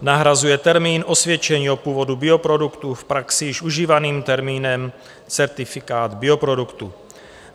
Nahrazuje termín osvědčení o původu bioproduktů v praxi již užívaným termínem certifikát bioproduktu.